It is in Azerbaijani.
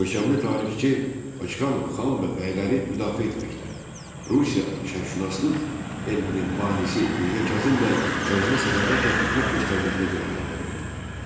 Görkəmli tarixçi Paşxanov xan və bəyləri müdafiə etməkdə Rusiya şərqşünaslıq elminin banisi Mirzə Kazım bəyə sədaqətlə xidmət göstərməkdə günahlandırıldı.